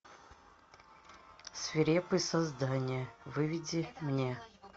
свирепые создания выведи мне